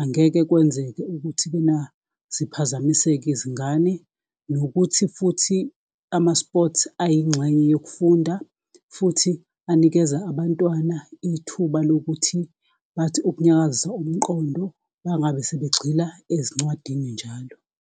angeke kwenzeke ukuthi-ke na ziphazamiseke izingane. Nokuthi futhi ama-sports ayingxenye yokufunda futhi anikeza abantwana ithuba lokuthi bathi ukunyakazisa umqondo mangabe sebegxila ezincwadini njalo.